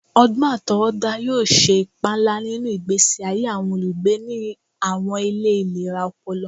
Ọgbọn atọwọda yoo ṣe ipa nla ninu igbesi aye awọn olugbe ni awọn ile ilera ọpọlọ